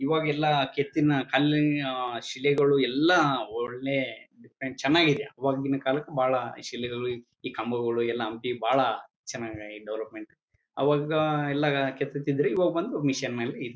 ಇವಾಗೆಲ್ಲಾ ಕೆತ್ತಿನ ಕಲ್ಲಿನ ಶಿಲೆಗಳು ಎಲ್ಲಾ ಒಳ್ಳೆ ಚನಾಗಿದೆ ಆವಾಗಿನ ಕಾಲಕ್ಕೆ ಬಹಳ ಶಿಲೆಗಳು ಈ ಕಂಬಗಳು ಎಲ್ಲಾ ಬಹಳ ಚನ್ನಾಗಿ ಡೂರೋ ಪೈಂಟ್ ಅವಾಗೆಲ್ಲ ಎಲ್ಲಾ ಕೆತ್ತಿತ್ತಿದ್ದರು ಇವಾಗೆಲ್ಲಾ ಇವಾಗ ಬಂದು ಮಿಷಿನ್ ಮಾಡಿ--